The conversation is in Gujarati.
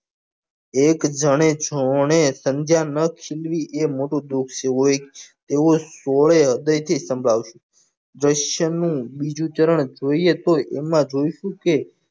એક જને છો ને સમજ્યા નાં સંધ્યા ન છીનવી એ મોટું દુખ છે તેઓ સોળે હૃદય થી સમજ્યા છે ધ્રશનું નું બીજું ચરણ જોઈએ તોય એમાં જોઈશું કે